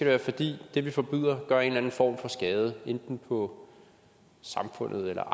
være fordi det vi forbyder gør en eller anden form for skade enten på samfundet eller